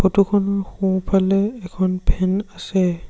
Photo খন সোঁফালে এখন ফেন আছে।